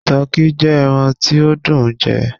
Tọki jẹ ẹran ti o dùn ún jẹ